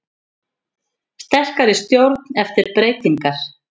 Sterkari stjórn eftir breytingar